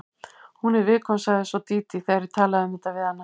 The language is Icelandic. Hún er viðkvæm, sagði svo Dídí þegar ég talaði um þetta við hana.